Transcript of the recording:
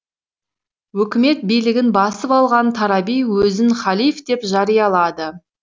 өкімет билігін басып алған тараби өзін халиф деп жариялады